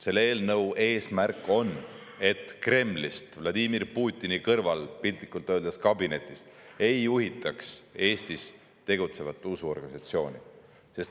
Selle eelnõu eesmärk on, et Kremlist, piltlikult öeldes Vladimir Putini kabineti kõrval asuvast kabinetist, ei juhitaks Eestis tegutsevat usuorganisatsiooni.